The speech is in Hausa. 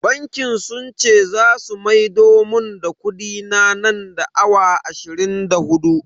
Bankin sun ce zasu maido mun da kudina nan da awa ashirin da hudu.